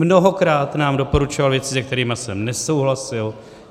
Mnohokrát nám doporučoval věci, se kterými jsem nesouhlasil.